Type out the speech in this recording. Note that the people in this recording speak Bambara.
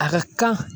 A ka kan